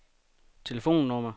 telefonnummer